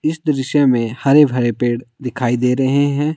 इस दृश्य में हरे भरे पेड़ दिखाई दे रहे हैं।